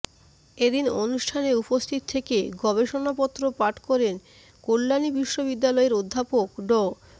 এদিন অনুষ্ঠানে উপস্থিত থেকে গবেষণা পত্র পাঠ করেন কল্যাণী বিশ্ববিদ্যালয়ের অধ্যাপক ড